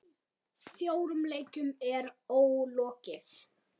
Fjórum leikjum er ólokið.